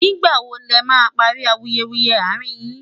nígbà wò lè má parí awuyewuye arin yín